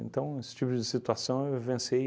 Então, esse tipo de situação eu vivenciei